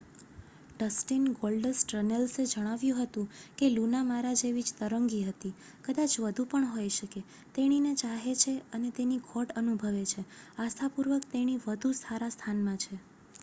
"Dustin "Goldust" રન્નેલ્સે જણાવ્યું હતું કે "લુના મારા જેવી જ તરંગી હતી.... કદાચ વધુ પણ હોઈ શકે ....તેણીને ચાહે છે અને તેની ખોટ અનુભવે છે.....આસ્થાપૂર્વક તેણી વધુ સારા સ્થાનમાં છે."